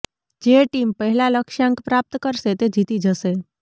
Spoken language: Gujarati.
જે ટીમ પહેલા લક્ષ્યાંક પ્રાપ્ત કરશે તે જીતી જશે